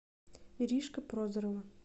иришка прозорова